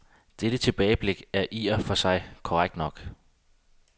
Dette tilbageblik er vel i og for sig korrekt nok.